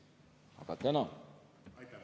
Aga tänan!